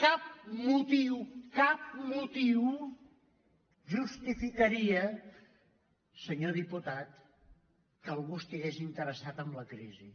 cap motiu cap motiu justifica·ria senyor diputat que algú estigués interessat en la crisi